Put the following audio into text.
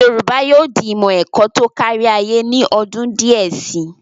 Yorùbá yóò di ìmọ̀ ẹ̀kọ́ tó kárí ayé ní ọdún díẹ̀ si.